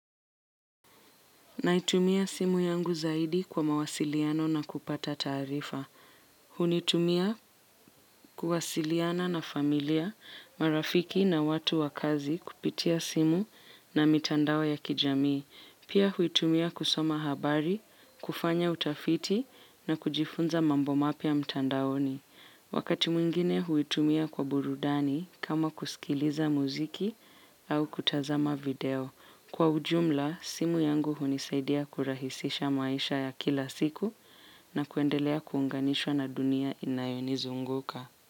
Naitumia simu yangu zaidi kwa mawasiliano na kupata taarifa. Hunitumia kuwasiliana na familia, marafiki na watu wa kazi kupitia simu na mitandao ya kijamii. Pia huitumia kusoma habari, kufanya utafiti na kujifunza mambo mapya mtandaoni. Wakati mwingine huitumia kwa burudani kama kusikiliza muziki au kutazama video. Kwa ujumla, simu yangu hunisaidia kurahisisha maisha ya kila siku na kuendelea kuunganishwa na dunia inayonizunguka.